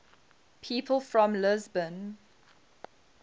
people from lisbon